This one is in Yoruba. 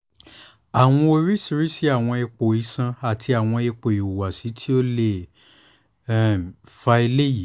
awọn oriṣiriṣi awọn ipo iṣan ati awọn ipo ihuwasi ti o le um fa eyi